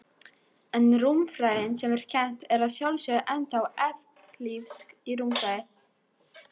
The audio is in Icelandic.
En rúmfræðin sem er kennd er að sjálfsögðu ennþá evklíðsk rúmfræði.